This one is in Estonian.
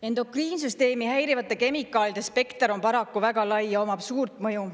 Endokriinsüsteemi häirivate kemikaalide spekter on paraku väga lai ja omab suurt mõju.